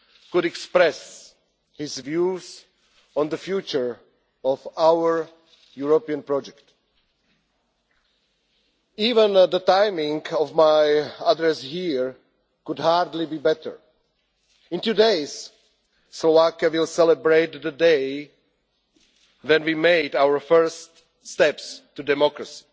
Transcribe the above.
could express his views on the future of our European project. Even the timing of my address here could hardly be better. In two days, Slovakia will celebrate the day when we made our first steps to democracy.